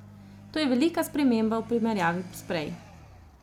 To je velika sprememba v primerjavi s prej.